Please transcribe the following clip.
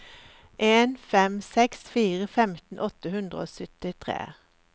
en fem seks fire femten åtte hundre og syttitre